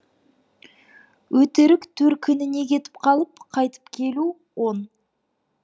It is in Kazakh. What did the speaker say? өтірік төркініне кетіп қалып қайтып келу он